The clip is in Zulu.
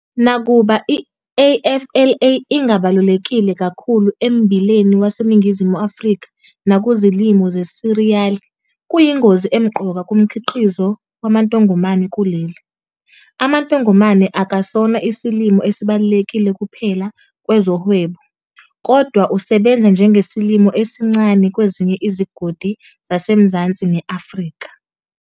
Nakuba i-AFLA ingabalulekile kakhulu emmbileni waseNingizimu Afrika nakuzilimo zesiriyali, kuyingozi emqoka kumkhiqizo wamantongomane kuleli. Amantongomane akasona isilimo esibalulekile kuphela kwezohwebo, kodwa usebenza njengesilimo esincane kwezinye izigodi zasemazansi ne-Afrika.